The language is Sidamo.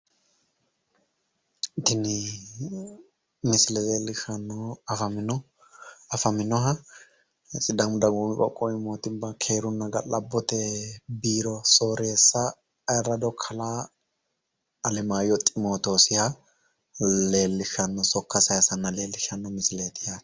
Tinni misille leelishanohu afaminoha sidaamu dagoomi qoqowi moottimma ga'labote biiro sooreessa ayirado kalaa alemayo ximootoosiha leelishano sokka sayisanna leelishano misilleeti yaate.